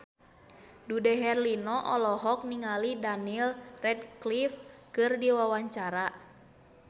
Dude Herlino olohok ningali Daniel Radcliffe keur diwawancara